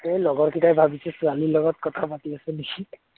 এই লগৰকেইটাই ভাবিছে ছোৱালী লগত কথা পাতি আছোঁ নেকি